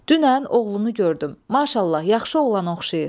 Dünən oğlunu gördüm, maşallah, yaxşı oğlana oxşayır.